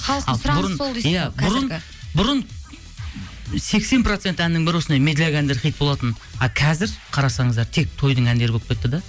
халықтың сұранысы сол бұрын сексен процент әннің бірі осындай медляк әндер хит болатын ал қазір қарасаңыздар тек тойдың әндері болып кетті де